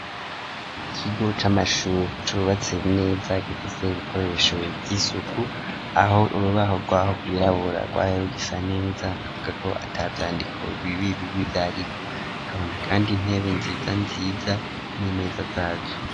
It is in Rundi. Ikigo c' amashuri cubatse nez,a gifise ibikoresho vy'isuku, aho urubaho rwaho rwirabura rwayo risa neza ,avuga ko atavyandiko bibi bibi vyariko ,kabona kandi intebe nziza nziza n'imeza zazo.